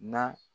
Na